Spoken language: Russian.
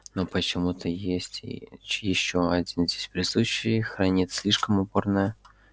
но почему-то ещё один здесь присутствующий хранит слишком упорное молчание